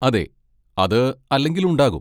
അതെ, അത് അല്ലെങ്കിലും ഉണ്ടാകും.